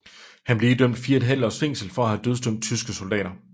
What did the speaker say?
Han blev idømt fire og et halvt års fængsel for at have dødsdømt tyske soldater